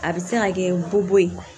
A bɛ se ka kɛ ko bo ye